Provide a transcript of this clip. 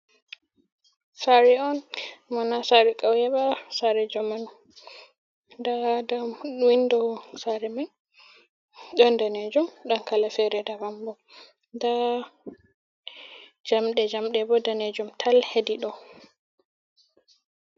Sare on mona sari kaweba sare jamanu daa nda windo sare man ɗon danejum don kala fere dabam bo nda jamɗe jamɗe bo danejum tal hedi ɗow.